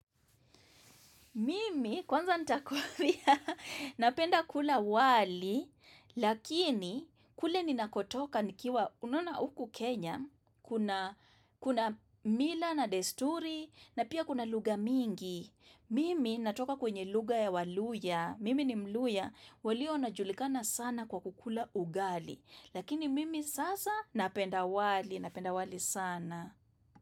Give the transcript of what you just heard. Mimi, kwanza nitakwambia, napenda kula wali, lakini kule ninakotoka nikiwa, unona huku Kenya, kuna mila na desturi, na pia kuna lugha mingi. Mimi, natoka kwenye lugha ya waluhya, mimi ni mluhya, walionajulikana sana kwa kukula ugali, lakini mimi sasa napenda wali, napenda wali sana.